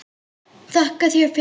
Þakka þér fyrir.